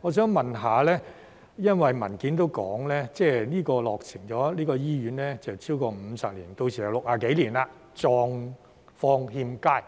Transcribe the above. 我想問，因為文件也說這間醫院已落成超過50年，屆時就是60幾年，狀況欠佳。